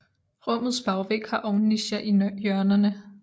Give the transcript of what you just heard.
Rummets bagvæg har ovnnicher i hjørnerne